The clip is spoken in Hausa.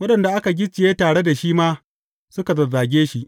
Waɗanda aka gicciye tare da shi ma suka zazzage shi.